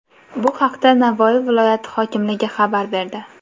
Bu haqda Navoiy viloyati hokimligi xabar berdi .